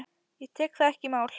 Ég tek það ekki í mál!